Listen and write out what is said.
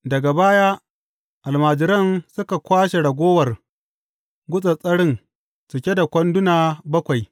Daga baya almajiran suka kwashe ragowar gutsattsarin cike da kwanduna bakwai.